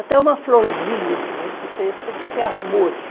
Até uma florzinha que você testa tem que ter amor.